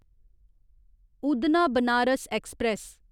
Udhna Banaras express